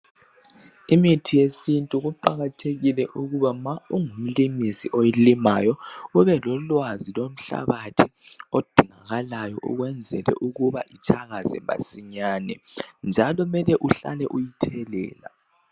Imithi yesintu kuqakathekile ukuba nxa ungumlimisi oyilimayo, ubelolwazi lomhlabathi odingakalayo ukwenzela ukuba itshakaze masinyane njalo kumele uhlale uyithelela.